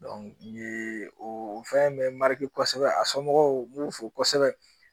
o fɛn in bɛ kosɛbɛ a somɔgɔw n b'u fo kosɛbɛ